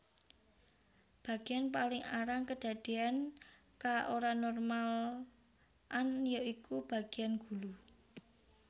Bagéan paling arang kedadéyan ka oranormal an ya iku bagéan gulu